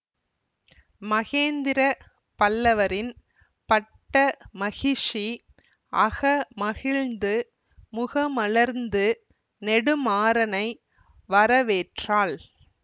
மகேந்திர பல்லவரின் பட்ட மகிஷி அக மகிழ்ந்து முகமலர்ந்து நெடுமாறனை வரவேற்றாள்